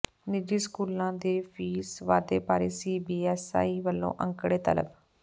ਨਿੱਜੀ ਸਕੂਲਾਂ ਦੇ ਫੀਸ ਵਾਧੇ ਬਾਰੇ ਸੀਬੀਐੱਸਈ ਵੱਲੋਂ ਅੰਕੜੇ ਤਲਬ